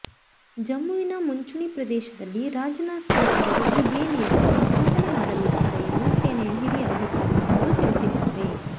ಜಮ್ಮುವಿನ ಮುಂಚೂಣಿ ಪ್ರದೇಶದಲ್ಲಿ ರಾಜನಾಥ್ ಸಿಂಗ್ ಅವರು ಈ ಬೇಲಿಯನ್ನು ಉದ್ಘಾಟನೆ ಮಾಡಲಿದ್ದಾರೆ ಎಂದು ಸೇನೆಯ ಹಿರಿಯ ಅಧಿಕಾರಿಯೊಬ್ಬರು ತಿಳಿಸಿದ್ದಾರೆ